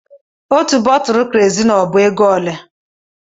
Otú bọtulụ Kerozini ọ bu égo olé?